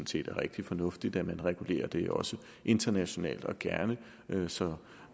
set er rigtig fornuftigt at man regulerer det internationalt og gerne så